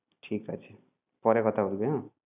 ঠিক আছে, পরে কথা বলবি হ্যাঁ?